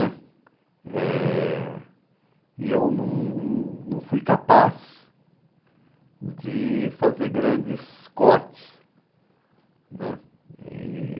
né eh eu não, não fui capaz de fazer grandes cortes né. E